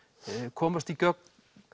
komast í gögn